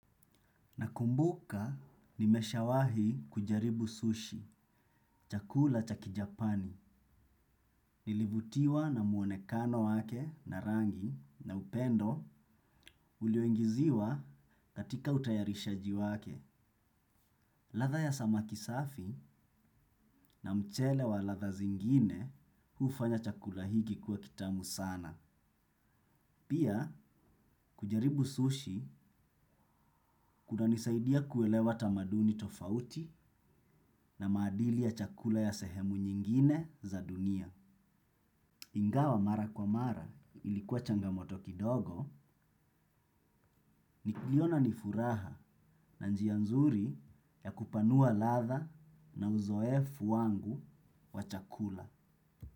Nakumbuka nimeshawahi kujaribu sushi, chakula chakijapani. Nilivutiwa na muonekano wake na rangi na upendo ulioingiziwa katika utayarishaji wake. Ladha ya samaki safi na mchele wa ladha zingine hufanya chakula hiki kuwa kitamu sana. Pia, kujaribu sushi kuna nisaidia kuelewa tamaduni tofauti na maadili ya chakula ya sehemu nyingine za dunia. Ingawa mara kwa mara ilikuwa changamoto kidogo niliona nifuraha na njianzuri ya kupanua ladha na uzoefu wangu wa chakula.